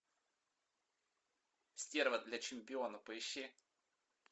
стерва для чемпиона поищи